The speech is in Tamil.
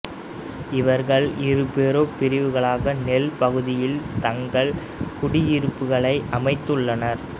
இவர்கள் இரு பெரும் பிரிவுகளாக நைல் பகுதியில் தங்கள் குடியிருப்புகளை அமைத்துள்ளனர்